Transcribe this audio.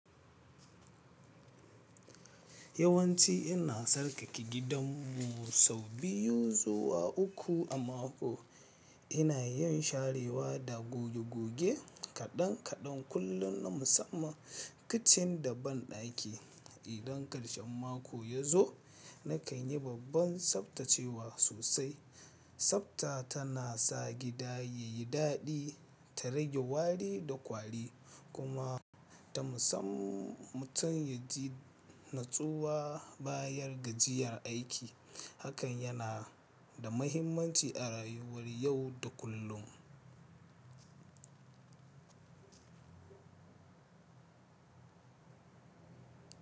Yawanci ina tsarkake gidanmu sau biyu zuwa uku a mako. Ina iya in sharewa da goge goge kaɗan kaɗan kullum na musamman kicin da banɗaki. Idan ƙarshen mako ya zo, na kai ni babban tsaftacewa sosai. Sabta tana sa gda yayi daɗi ta rage wari da kwari kuma ta musamman mutum yaji natsuwa bayan gajiyar aiki. Hakan yana da mahimmanci a rayuwar yau da kullum.